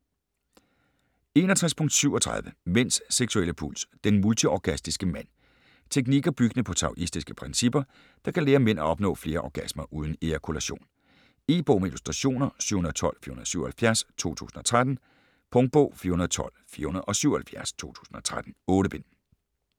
61.37 Mænds seksuelle puls: den multiorgastiske mand Teknikker, byggende på taoistiske principper, der kan lære mænd at opnå flere orgasmer uden ejakulation. E-bog med illustrationer 712477 2013. Punktbog 412477 2013. 8 bind.